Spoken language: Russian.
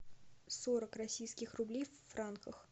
сорок российских рублей в франках